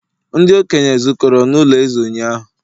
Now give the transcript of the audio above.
ndi-okenye zukọrọ n'ulo eze ụnyahụ